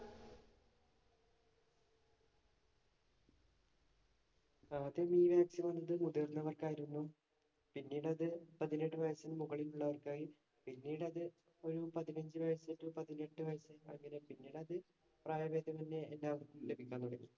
ആദ്യം ഈ vaccine വന്നത് മുതിര്‍ന്നവര്‍ക്കായിരുന്നു. പിന്നീടു അത് പതിനെട്ട് വയസിനു മുകളില്‍ ഉള്ളവര്‍ക്കായി. പിന്നിട് അത് ഒരു പതിനഞ്ചു വയസുതൊട്ട് പതിനെട്ട് വയസ് പിന്നീടത് പ്രായഭേദമന്യേ എല്ലാവര്‍ക്കും ലഭിക്കാന്‍ തുടങ്ങി.